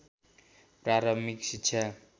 प्रारम्भिक शिक्षा